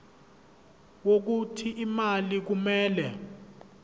wokuthi imali kumele